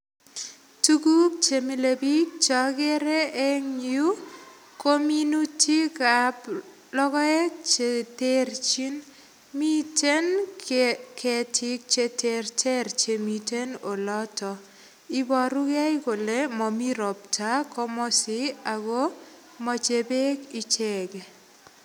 Tuguk chemile biik chekere en yuu ko minutik ab logoek cheterchin miten ketiik cheterter chemiten oloton iborugee kole momii ropta komosi ako moche beek icheket